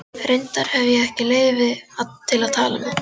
Reyndar hefi ég ekki leyfi til að tala um þetta.